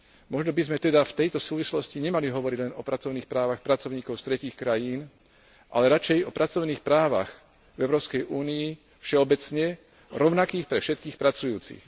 Možno by sme teda v tejto súvislosti nemali hovoriť len o pracovných právach pracovníkov z tretích krajín, ale radšej o pracovných právach Európskej únie všeobecne, rovnakých pre všetkých pracujúcich.